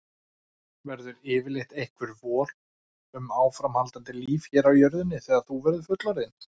Verður yfirleitt einhver von um áframhaldandi líf hér á jörðinni þegar þú verður fullorðinn?